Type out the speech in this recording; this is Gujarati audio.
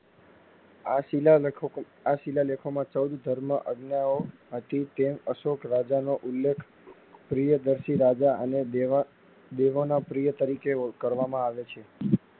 આ શીલા લેખો આ શીલાલેખો માં ચૌદ ધર્મ અગનઑ હતી. તેમ અશોકરાજા નો ઉલેખ ત્રેવનશી રાજા અને દેવા દેવાના પ્રિય તરીકે યોગ કરવામાં આવે છે.